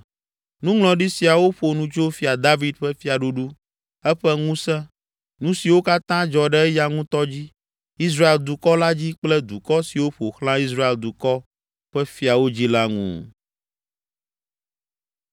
Nuŋlɔɖi siawo ƒo nu tso Fia David ƒe fiaɖuɖu, eƒe ŋusẽ, nu siwo katã dzɔ ɖe eya ŋutɔ dzi, Israel dukɔ la dzi kple dukɔ siwo ƒo xlã Israel dukɔ ƒe fiawo dzi la ŋu.